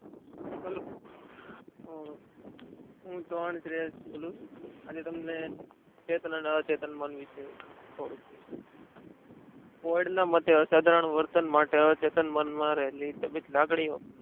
Hello આજે તમને ચેતન અને અચેતન થોડું કહીશ વડના માટે અસાધારણ વર્તન માટે અચેતન મનમાં રહેલી લાગણીઓ